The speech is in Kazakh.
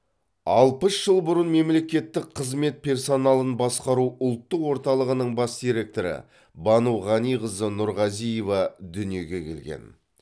алпыс жыл бұрын мемлекеттік қызмет персоналын басқару ұлттық орталығының бас директоры бану ғаниқызы нұрғазиева дүниеге келген